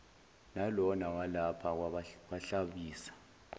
nalona walapha kwahlabisa